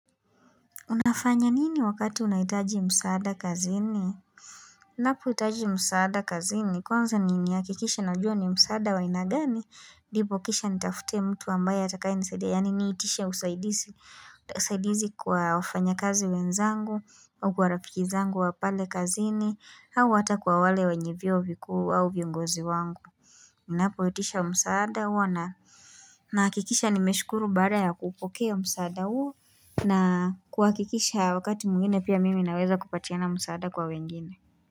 Unafanya nini wakati unahitaji msaada kazini? Unapoitaji msaada kazini, kwanza ninakikisha najua ni msaada wa aina gani? Ndipo kisha nitafute mtu ambaye atakayenisaidia, yaani niitishe usaidizi kwa wafanyakazi wenzangu, au kwa rafiki zangu wa pale kazini, au hata kwa wale wenye vyeo vikuu, au viongozi wangu. Unapoitisha msaada huwa na, nahakikisha nimeshukuru baada ya kupokea msaada huo, na kuakikisha wakati mwingine pia mimi naweza kupatiana msaada kwa wengine.